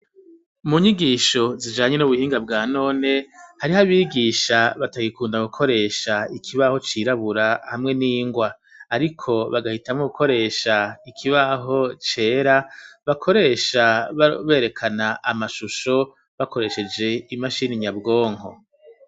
Mu nyigisho zijanye n'ubuhinga bwa none ,hariho abigisha batayikunda gukoresha ikibaho cirabura ,hamwe n'ingwa ,ariko bagahitamo gukoresha ikibaho cera, bakoresha berekana amashusho ,bakoresheje imashini nyabwonko.